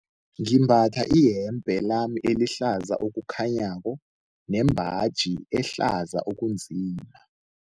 Ngimbatha iyembe lami elihlaza okukhanyako nembaji ehlaza okunzima.